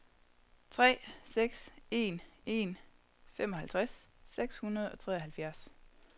tre seks en en femoghalvtreds seks hundrede og treoghalvfjerds